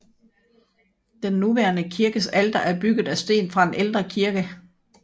Den nuværende kirkes alter er bygget af sten fra en ældre kirke